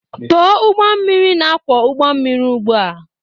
Tọọ ụgbọ mmiri na-akwọ ụgbọ mmiri ugbu a!